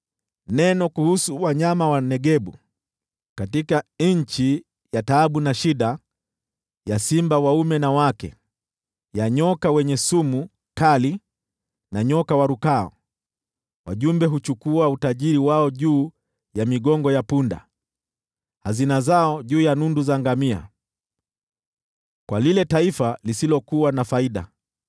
Neno kuhusu wanyama wa Negebu: Katika nchi ya taabu na shida, ya simba za dume na jike, ya nyoka mwenye sumu kali na nyoka warukao, wajumbe huchukua utajiri wao juu ya migongo ya punda, hazina zao juu ya nundu za ngamia, kwa lile taifa lisilokuwa na faida,